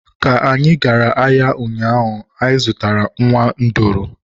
Ka anyị gara ahịa ụnyaahụ, anyị zụrụ nwa nduru.